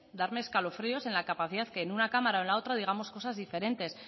darme escalofríos en la capacidad que en una cámara o en la otra digamos cosas diferentes